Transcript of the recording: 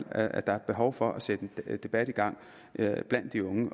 at der er behov for at sætte en debat i gang blandt de unge